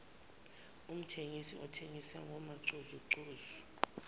umthengisi othengisa ngamacozucozu